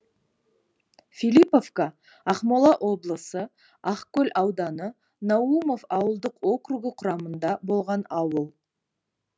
филипповка ақмола облысы ақкөл ауданы наумов ауылдық округі құрамында болған ауыл